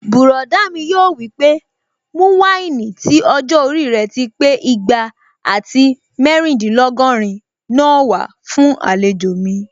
Bùrọ̀dá mi yóò wí pé "mú wáìnì tí ọjọ́-orí rẹ̀ ti pé igba àti mẹ́rìndínlógọ́rin náà wá fún àlejò mi"